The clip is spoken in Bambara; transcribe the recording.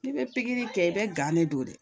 N'i bɛ pikiri kɛ i bɛ gan de don dɛ